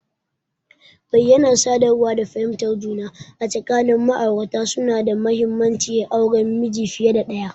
Bayyanar sadarwa da fahimtar juna tsakanin ma'aurata suna da mahimmanci a auren miji fiye da ɗaya.